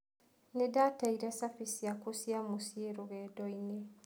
Nĩ ndaateire cabi ciakwa cia mũciĩ rũgendo-inĩ.